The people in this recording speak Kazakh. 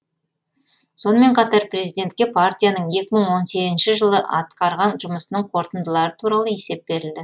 сонымен қатар президентке партияның екі мың он сегізінші жылы атқарған жұмысының қорытындылары туралы есеп берілді